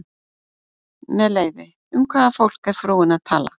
Með leyfi, um hvaða fólk er frúin að tala?